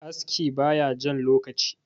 aski ba ya Jan lokaci